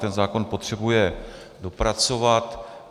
Ten zákon potřebuje dopracovat.